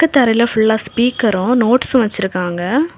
க்கு தரையில ஃபுல்லா ஸ்பீக்கரும் நோட்ஸும் வச்சிருக்காங்க.